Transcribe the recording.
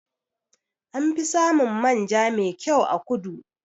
Anfi samun manja me kyau a kudu.